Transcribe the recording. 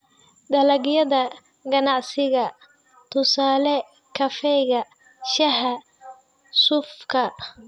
Dalagyada ganacsiga: tusaale, kafeega, shaaha, suufka.